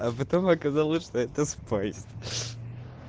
а потом оказалось что это спайс